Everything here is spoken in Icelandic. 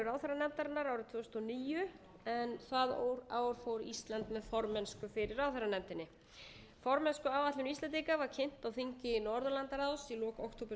ráðherranefndarinnar árið tvö þúsund og níu en það ár fór ísland með formennsku fyrir ráðherranefndinni formennskuáætlun íslendinga var kynnt á þingi norðurlandaráðs í lok október tvö þúsund og